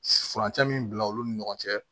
Furancɛ min bila olu ni ɲɔgɔn cɛ